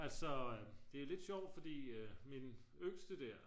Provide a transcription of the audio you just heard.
altså det er lidt sjovt fordi min yngste der